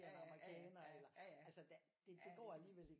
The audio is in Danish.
Er en amerikaner det går alligevel